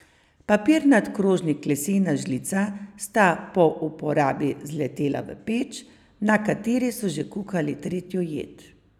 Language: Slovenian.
Papirnat krožnik lesena žlica sta po uporabi zletela v peč, na kateri so že kuhali tretjo jed.